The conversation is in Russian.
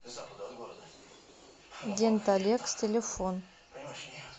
денталекс телефон